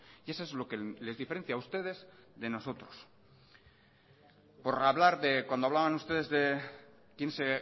y eso es lo que les diferencia a ustedes de nosotros por hablar de cuando hablaban ustedes de quién se